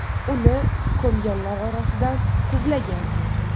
Uni ko‘mganlar orqasidan quvlagan.